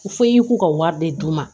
U fɔ i y'u ka wari de d'u ma